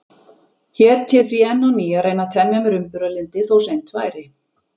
Hét ég því enn á ný að reyna að temja mér umburðarlyndi, þó seint væri.